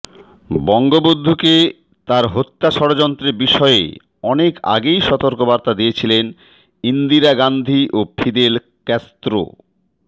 বঙ্গবন্ধুকে তার হত্যা ষড়যন্ত্রের বিষয়ে অনেক আগেই সতর্কবার্তা দিয়েছিলেন ইন্দিরা গান্ধী ও ফিদেল ক্যাস্ত্রো